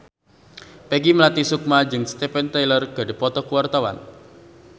Peggy Melati Sukma jeung Steven Tyler keur dipoto ku wartawan